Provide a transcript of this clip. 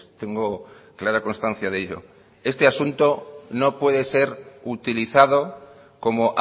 tengo clara constancia de ello este asunto no puede ser utilizado como